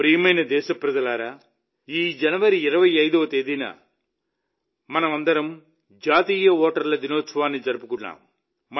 నా ప్రియమైన దేశప్రజలారా ఈ జనవరి 25వ తేదీన మనమందరం జాతీయ ఓటర్ల దినోత్సవాన్ని జరుపుకున్నాం